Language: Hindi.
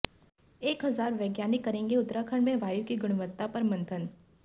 एक हजार वैज्ञानिक करेंगे उत्तराखंड में वायु की गुणवत्ता पर मंथन